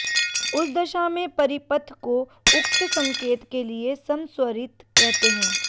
उस दशा में परिपथ को उक्त संकेत के लिए समस्वरित कहते हैं